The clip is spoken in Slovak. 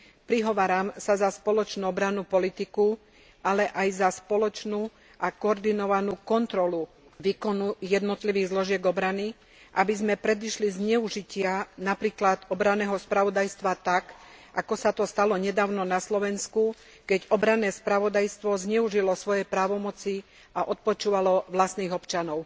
Prihováram sa za spoločnú obrannú politiku, ale aj za spoločnú a koordinovanú kontrolu výkonu jednotlivých zložiek obrany, aby sme predišli zneužitiu napríklad obranného spravodajstva tak, ako sa to stalo nedávno na Slovensku, keď obranné spravodajstvo zneužilo svoje právomoci a odpočúvalo vlastných občanov.